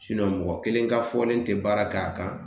mɔgɔ kelen ka fɔlen tɛ baara k'a kan